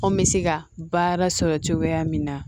Anw bɛ se ka baara sɔrɔ cogoya min na